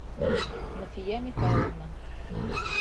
нафия михайловна